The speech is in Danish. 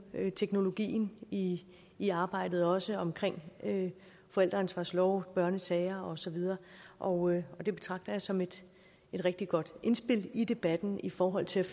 teknologien i i arbejdet også omkring forældreansvarslove børnesager og så videre og det betragter jeg som et rigtig godt indspil i debatten i forhold til